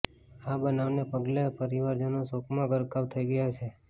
આ બનાવને પગલે પરિવારજનો શોકમાં ગરકાવ થઈ ગયા છે